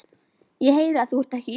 Ég heyri að þú ert ekki íslenskur.